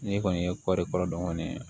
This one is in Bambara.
N'i kɔni ye kɔɔri kɔrɔ dɔn kɔni